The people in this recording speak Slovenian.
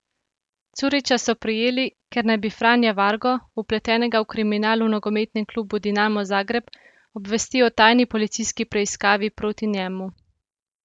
Curića so prijeli, ker naj bi Franja Vargo, vpletenega v kriminal v nogometnem klubu Dinamo Zagreb, obvestil o tajni policijski preiskavi proti njemu.